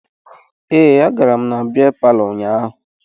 Ee, agara m na bịa palọ ụnyaahụ